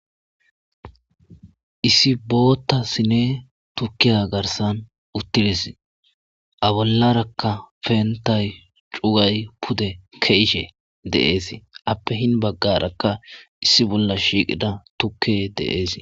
issi bootta sine tukkiya garsan uttires a bollarakka peentay cuway pude kezishe dees appe hin baggarakka issi bolla shiiqida tukke dees